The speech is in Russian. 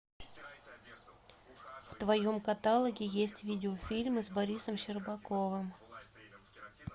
в твоем каталоге есть видеофильмы с борисом щербаковым